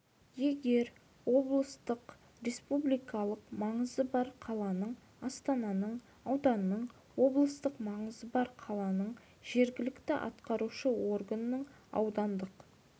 егер облыстың республикалық маңызы бар қаланың астананың ауданның облыстық маңызы бар қаланың жергілікті атқарушы органының аудандық